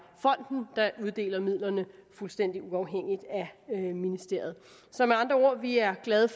fonden der uddeler midlerne fuldstændig uafhængigt af ministeriet så med andre ord vi er glade